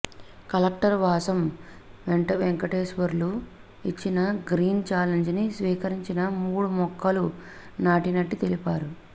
collector Vasam Venkateswarlu ఇచ్చిన green challenge ని స్వీకరించి మూడు మొక్కలు నాటినట్టు తెలిపారు